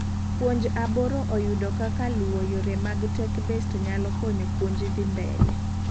puonj aboro oyudo kak luo yore mag tech-based nyalo konyo puonj dhi mbele